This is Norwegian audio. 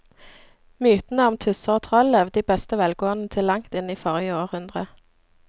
Mytene om tusser og troll levde i beste velgående til langt inn i forrige århundre.